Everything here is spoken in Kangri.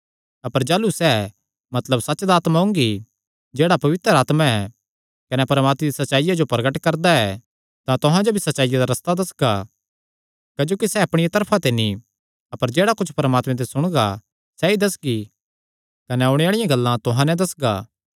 अपर जाह़लू सैह़ मतलब सच्च दा आत्मा ओंगी जेह्ड़ा पवित्र आत्मा ऐ कने परमात्मे दी सच्चाईया जो प्रगट करदा ऐ तां तुहां जो भी सच्चाईया दा रस्ता दस्सगा क्जोकि सैह़ अपणिया तरफा ते नीं अपर जेह्ड़ा कुच्छ परमात्मे ते सुणगा सैई दस्सगी कने ओणे आल़िआं गल्लां तुहां नैं दस्सगा